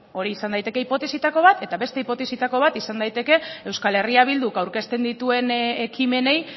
hori izan daiteke hipotesietako bat eta beste hipotesietako bat izan daiteke euskal herria bilduk aurkezten dituen ekimenei